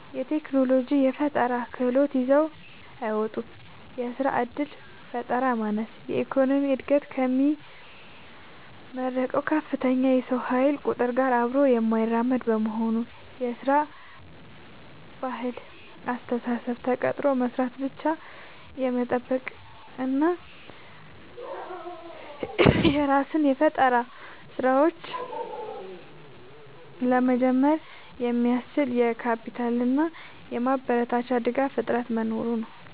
የቴክኖሎጂና የፈጠራ ክህሎት ይዘው አይወጡም። የሥራ ዕድል ፈጠራ ማነስ፦ የኢኮኖሚው ዕድገት ከሚመረቀው ከፍተኛ የሰው ኃይል ቁጥር ጋር አብሮ የማይራመድ መሆኑ። የሥራ ባህልና አስተሳሰብ፦ ተቀጥሮ መሥራትን ብቻ የመጠበቅ እና የራስን የፈጠራ ሥራዎች (Startup) ለመጀመር የሚያስችል የካፒታልና የማበረታቻ ድጋፍ እጥረት መኖሩ ነው።